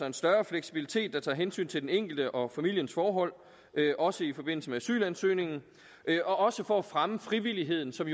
en større fleksibilitet der tager hensyn til den enkelte og familiens forhold også i forbindelse med asylansøgningen og også for at fremme frivilligheden som